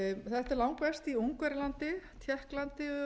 þetta er langverst í ungverjalandi tékklandi